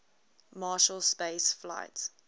marshall space flight